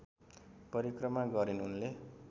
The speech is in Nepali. परिक्रमा गरिन् उनले